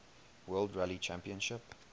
world rally championship